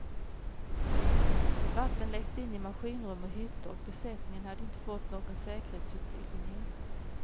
Vatten läckte in i maskinrum och hytter och besättningen hade inte fått någon säkerhetsutbildning.